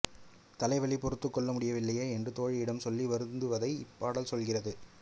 தலைவி பொறுத்துக்கொள்ள முடியவில்லையே என்று தோழியிடம் சொல்லி வருந்துவதை இப்பாடல் சொல்கிறது